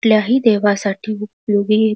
कुठल्याही देवासाठी उपयोगी --